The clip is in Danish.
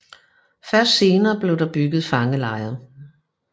Først senere blev der bygget fangelejre